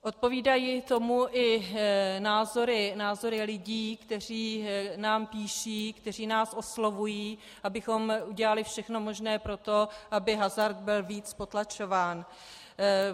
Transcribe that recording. Odpovídají tomu i názory lidí, kteří nám píší, kteří nás oslovují, abychom udělali všechno možné pro to, aby hazard byl víc potlačován.